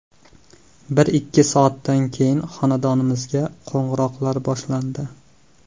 Bir-ikki soatdan keyin xonadonimizga qo‘ng‘iroqlar boshlandi.